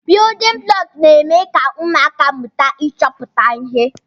Biyudin bụlọku n'eme ka ụmụaka mụta ịchọpụta ihe.